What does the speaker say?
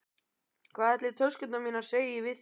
Hvað ætli töskurnar mínar segi við því?